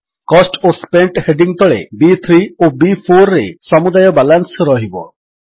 cost ଓ spent heading ତଳେ ବି3 ଓ B4ରେ ସମୁଦାୟ ବାଲାନ୍ସ ରହିବ